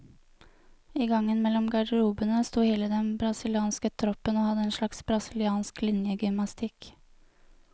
I gangen mellom garderobene stod hele den brasilianske troppen og hadde en slags brasiliansk linjegymnastikk.